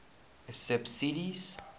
subsidies